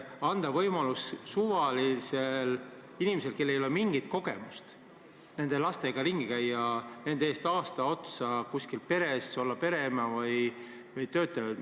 Anda võimalus suvalisele inimesele, kellel ei ole mingit kogemust nende lastega ümber käia, olla aasta otsa kuskil peres pereema või töötaja!